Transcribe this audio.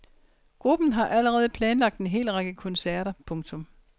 Gruppen har allerede planlagt en hel række koncerter. punktum